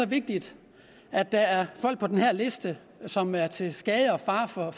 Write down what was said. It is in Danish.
vigtigt at der er folk på den her liste som er til skade og fare for